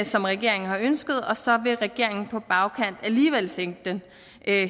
som regeringen har ønsket og så vil regeringen på bagkant alligevel sænke den